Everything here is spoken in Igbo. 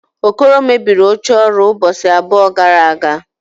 Okoro mebiri oche ọrụ ụbọchị abụọ gara aga